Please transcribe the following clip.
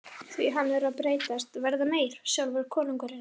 Því hann er að breytast, verða meyr, sjálfur konungurinn.